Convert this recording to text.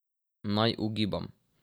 Naj ugibam.